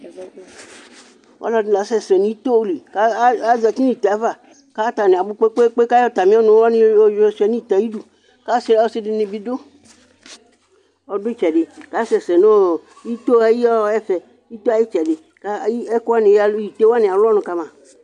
Ɔlɔdɩ nɩ la asɛ sɛ nʋ ito li, kʋ azǝtɩ nʋ ite ava Atanɩ abʋ kpekpekpe, kʋ ayɔ atamɩ ɔnʋ wanɩ yɔshʋa nʋ ite ayʋ ɩdʋ Ɔsɩ dɩnɩ bɩ adʋ ɛfɛ, kʋ asɛ sɛ nʋ ito yɛ ayʋ ɩtsɛdɩ Ite wanɩ alʋ ɔnʋ kama